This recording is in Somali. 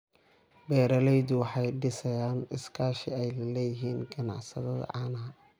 Beeraleydu waxay dhisayaan iskaashi ay la leeyihiin ganacsatada caanaha.